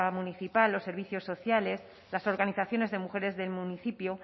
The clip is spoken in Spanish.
municipal los servicios sociales las organizaciones de mujeres del municipio